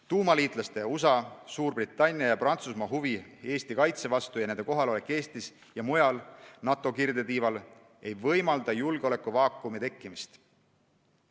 Tuumaliitlaste USA, Suurbritannia ja Prantsusmaa huvi Eesti kaitse vastu ja nende kohalolek Eestis ja mujal NATO kirdetiival ei võimalda julgeolekuvaakumi tekkimist.